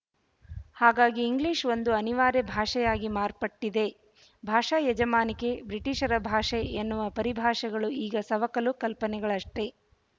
ಹಾಗಾಗಿ ಇಂಗ್ಲಿಶ ಒಂದು ಅನಿವಾರ್ಯ ಭಾಷೆಯಾಗಿ ಮಾರ್ಪಟ್ಟಿದೆ ಭಾಷಾ ಯಜಮಾನಿಕೆ ಬ್ರಿಟೀಷರ ಭಾಷೆ ಎನ್ನುವ ಪರಿಭಾಷೆಗಳು ಈಗ ಸವಕಲು ಕಲ್ಪನೆಗಳಷ್ಟೇ